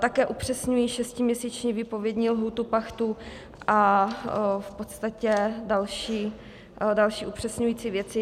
Také upřesňují šestiměsíční výpovědní lhůtu pachtu a v podstatě další upřesňující věci.